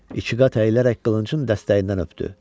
İki qat əyilərək qılıncın dəstəyindən öpdü.